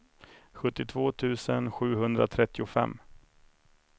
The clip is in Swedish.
sjuttiotvå tusen sjuhundratrettiofem